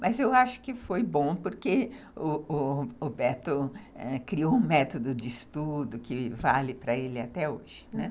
Mas eu acho que foi bom porque o o Roberto criou um método de estudo que vale para ele até hoje, né.